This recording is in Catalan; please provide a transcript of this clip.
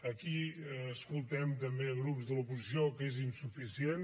aquí escoltem també grups de l’oposició que és insuficient